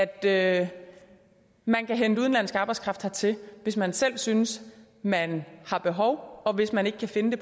at man kan hente udenlandsk arbejdskraft hertil hvis man selv synes man har behov og hvis man ikke kan finde